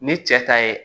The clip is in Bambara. Ni cɛ ta ye